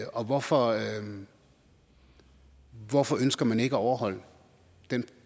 og hvorfor hvorfor ønsker man ikke at overholde den